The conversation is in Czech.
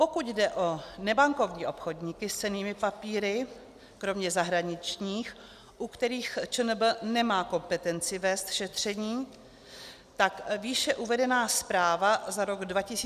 Pokud jde o nebankovní obchodníky s cennými papíry, kromě zahraničních, u kterých ČNB nemá kompetenci vést šetření, tak výše uvedená zpráva za rok 2017 uvádí 48 podání.